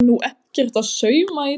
Á nú ekkert að sauma í dag?